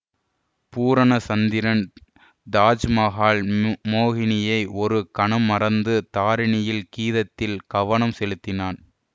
பூரண சந்திரன் தாஜ் மகால் ம்மோ மோகினியை ஒரு கணம் மறந்து தாரிணியின் கீதத்தில் கவனம் செலுத்தினான்